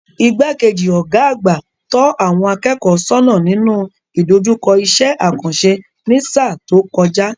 Igbá-kejì Ọ̀gá àgbà tọ́ àwọn akẹ́kọ̀ọ́ sónà nínú ìdojúkọ iṣẹ́ àkànṣe ní sáà tó kojay